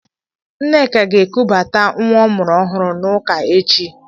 Nneka ga-ekubata nwa ọ mụrụ ọhụrụ n'ụka echi.